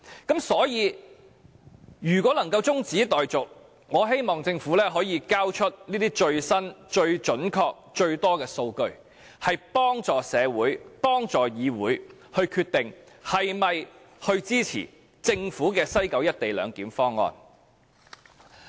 因此，如果議案能夠中止待續，我希望政府可以提交最新、最準確、最多的數據，幫助社會和議會決定是否支持政府的西九"一地兩檢"方案。